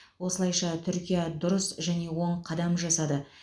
осылайша түркия дұрыс және оң қадам жасады